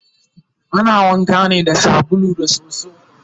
ana wanka ne da sabulu da soso